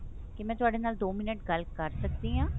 ਕੀ ਮੈਂ ਤੁਹਾਡੇ ਨਾਲ ਦੋ ਮਿੰਟ ਗੱਲ ਕਰ ਸਕਦੀ ਹਾਂ